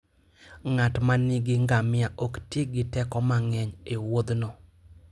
Ng'at ma nigi ngamia ok ti gi teko mang'eny e wuodhno.